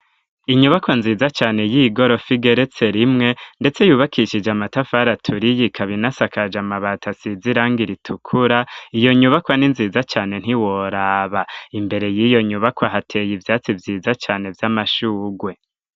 Inyubakwa nziza cane y'igorofa igeretse rimwe, ndetse yubakishije amatafari aturiyi ikaba inasakaje amabata asiza iranga iritukura iyo nyubakwa ni nziza cane ntiworaba imbere y'iyo nyubakwa hateye ivyatsi vyiza cane vy'amashugwe.